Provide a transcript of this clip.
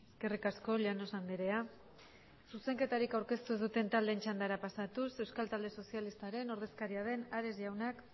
eskerrik asko llanos andrea zuzenketarik aurkeztu ez duten taldeen txandara pasatuz euskal talde sozialistaren ordezkaria den ares jaunak